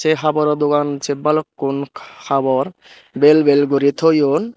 ey haboro dogan se balukkun habor bel bel guri toyon.